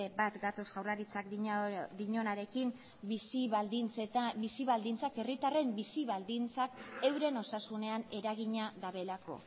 bat gatoz jaurlaritzak dioanarekin herritarren bizi baldintzak euren osasunean eragina dutelako